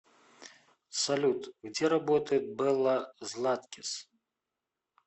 салют где работает белла златкис